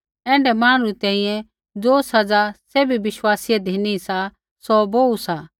ऐण्ढै मांहणु री तैंईंयैं ज़ो सज़ा सैभी विश्वासीयै धिनी सा सौ बोहू सा